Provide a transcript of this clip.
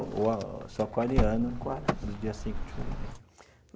Sou aquariano, do dia cinco de fevereiro.